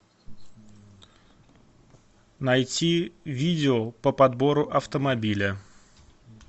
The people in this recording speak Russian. найти видео по подбору автомобиля